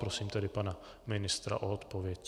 Prosím tedy pana ministra o odpověď.